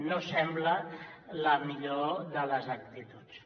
no sembla la millor de les actituds